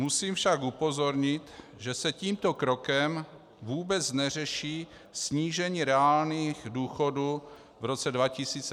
Musím však upozornit, že se tímto krokem vůbec neřeší snížení reálných důchodů v roce 2016 a později.